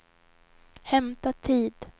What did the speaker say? hämta tid